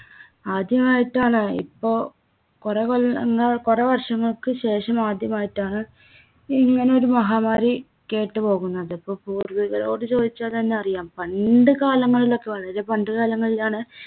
ആദ്യായിട്ടാണ് ഇപ്പോ കുറെ കൊല്ലങ്ങൾ കുറെ വർഷങ്ങൾക്കു ശേഷം ആദ്യമായിട്ടാണ് ഇങ്ങനെ ഒരു മഹാമാരി കേട്ടുപോകുന്നത്. ഇപ്പോ പൂർവ്വികരോട് ചോദിച്ചാൽത്തന്നെ അറിയാം. പണ്ട് കാലങ്ങളിലൊക്ക വളരെ പണ്ട് കാലങ്ങളിലാണ്